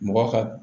Mɔgɔ ka